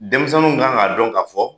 Denmisɛnninw kan ka dɔn ka fɔ